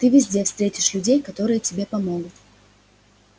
ты везде встретишь людей которые тебе помогут